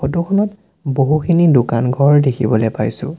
ফটোখনত বহুখিনি দোকান-ঘৰ দেখিবলে পাইছোঁ।